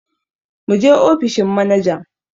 Muje ofishin manajan!